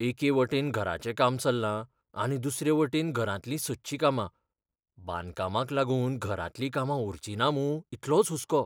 एके वटेन घराचें काम चल्लां आनी दुसरे वटेन घरांतलीं सदचीं कामां. बांदकामाक लागून घरांतलीं कामां उरचिना मूं इतलोच हुस्को.